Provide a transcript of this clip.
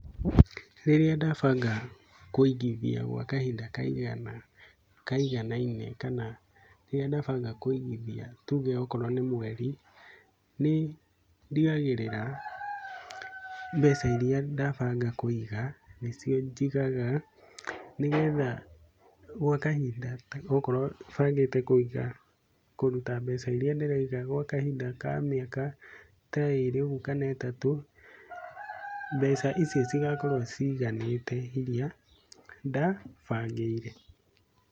Rĩrĩa ndabanga kũigithia gwa kahinda kaiganaine kana rĩrĩa ndabanga kũigithia tuge o korwo nĩ mweri, nĩ ndigagĩrĩra mbeca irĩa ndabanga kũiga nĩcio njigaga nĩgetha gwa kahinda okorwo bangĩte kũiga kúruta mbeca iria ndĩraiga gwa kahinda ka mĩaka ta ĩrĩ ũguo kana ĩtatũ mbeca icio cigakorwo ciiganĩte irĩa ndabangĩire.